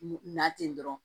Na ten dɔrɔn